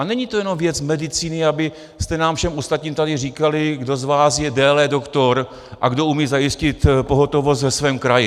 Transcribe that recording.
A není to jenom věc medicíny, abyste nám všem ostatním tady říkali, kdo z vás je déle doktor a kdo umí zajistit pohotovost ve svém kraji.